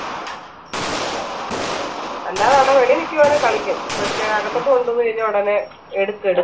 എന്ന ഒന്ന് വെളിയിന്ന് മിക്കവാറും കളിക്കും പക്ഷെ അകത്തോട്ട് കൊണ്ടുവന്ന് കഴിഞ്ഞാ ഉടനെ എടുത്ത് എട്